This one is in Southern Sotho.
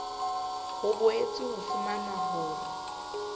ho boetswe ha fumanwa hore